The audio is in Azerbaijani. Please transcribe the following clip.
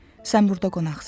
Sən burda qonaqsan.